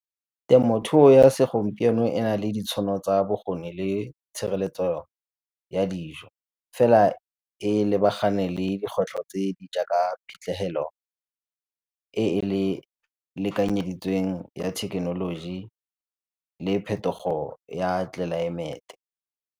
Temothuo ya segompieno e na le ditšhono tsa bokgoni le tshireletsego ya dijo, fela e lebagane le dikgwetlho tse di jaaka phitlhelelo e e lekanyeditsweng le thekenoloji le phetogo ya tlelaemete.